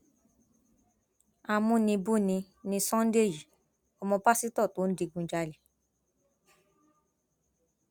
amúnibùbí ni sunday yìí ọmọ pásítọ tó ń digunjalè